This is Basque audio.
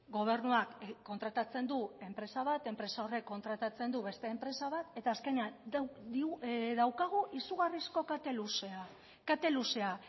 gobernuak kontratatzen du enpresa bat enpresa horrek kontratatzen du beste enpresa bat eta azkenean daukagu izugarrizko kate luzea kate luzea